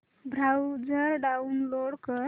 browser download कर